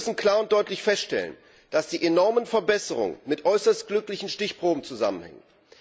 Wir müssen klar und deutlich feststellen, dass die enormen Verbesserungen mit äußerst glücklichen Stichproben zusammenhängen.